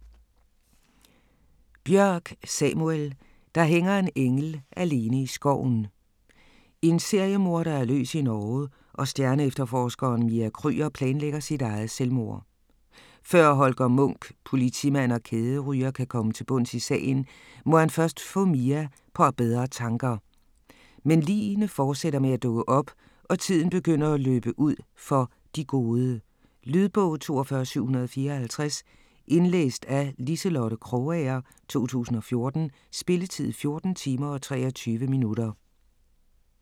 Bjørk, Samuel: Der hænger en engel alene i skoven En seriemorder er løs i Norge og stjerneefterforskeren Mia Krüger planlægger sit eget selvmord. Før Holger Munch, politimand og kæderyger, kan komme til bunds i sagen, må han først få Mia på bedre tanker. Men ligene fortsætter med at dukke op og tiden begynder at løbe ud for "de gode". Lydbog 42754 Indlæst af Liselotte Krogager, 2014. Spilletid: 14 timer, 23 minutter.